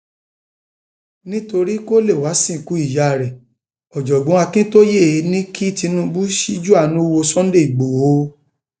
nítorí kó lè wáá sìnkú ìyá rẹ ọjọgbọn akintaye ní kí tinubu ṣíjú àánú wo sunday igbodò